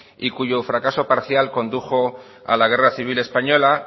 y cuyo fracaso parcial condujo a la guerra civil española